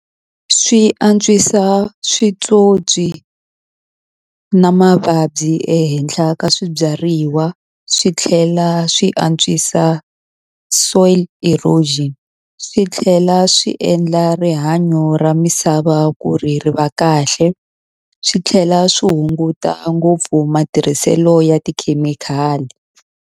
Swi antswisa switsotswi na mavabyi ehenhla ka swibyariwa swi tlhela swi antswisa soil erosion swi tlhela swi endla rihanyo ra misava ku ri ri va kahle swi tlhela swi hunguta a ngopfu matirhiselo ya tikhemikhali.